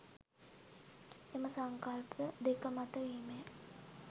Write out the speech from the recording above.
එම සංකල්ප දෙක මත වීමය.